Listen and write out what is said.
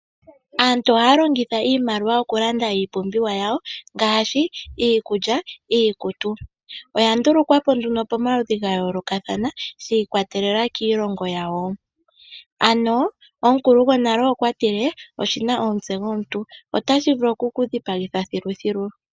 Aantu ohaya longitha iimaliwa okulanda iipumbiwa yawo ngaashi, iikulya, iikutu. Oyandulukwa po nduno pomaludhi gayolokathana shiikwatelela kiilongo yawo. Ano omukulu gonale okwa tile, oshina omutse gomuntu, otashi vulu okukudhipagitha thiluthilu.